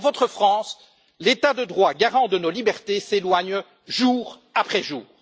Dans votre France, l'état de droit, garant de nos libertés, s'éloigne jour après jour.